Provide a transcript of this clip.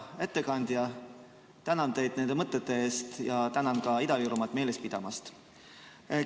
Hea ettekandja, tänan teid nende mõtete eest ja tänan ka Ida-Virumaad meeles pidamast!